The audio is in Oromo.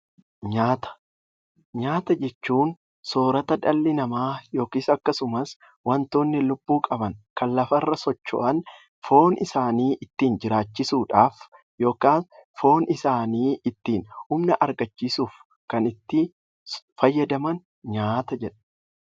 Nyaata jechuun soorata dhalli namaa yookiin akkasumas wantoonni lubbuu qaban kan lafa irra socho'an foon isaanii ittiin jiraachisuudhaaf yookiin foon isaanii ittiin humna argachiisuuf kan itti fayyadaman nyaata jedhama.